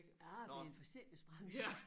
Ah det en forsikringsbranche